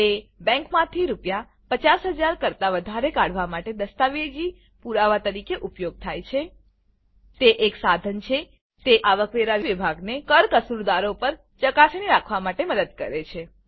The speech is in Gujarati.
તે બેંકમાંથી રૂ 50 000 કરતા વધારે કાઢવા માટે દસ્તાવેજી પુરાવા તરીકે ઉપયોગ થાય છે તે એક સાધન છે તે આવકવેરા વિભાગને કર કસૂરદારો પર ચકાસણી રાખવા માટે મદદ કરે છે